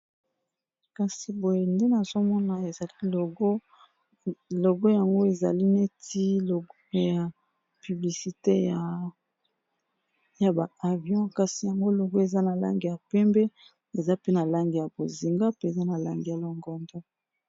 kasi boye nde na zomona ezali logo yango ezali neti logo ya piblisite ya baavion kasi yango logo eza na lange ya pembe eza pe na lange ya bozinga pe eza na lange ya longondo